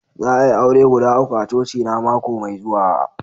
Za a'yi aure guda uku a coci na mako mai zuwa.